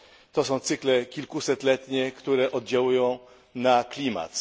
To są cykle kilkusetletnie, które oddziałują na klimat.